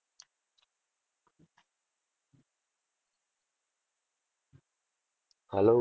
Hello.